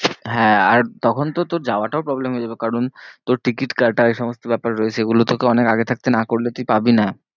হ্যাঁ আর তখন তো তোর যাওয়াটাও problem হয়ে যাবে কারণ তোর ticket কাটা এ সমস্ত ব্যাপার রয়েছে এই গুলো তোকে অনেক আগে থাকতে না করলে তুই পাবি না।